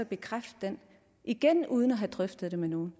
bekræfte den igen uden at have drøftet det med nogen